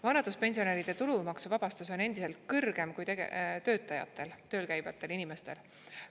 Vanaduspensionäride tulumaksuvabastus on endiselt kõrgem kui töötajatel, tööl käivatel inimestel.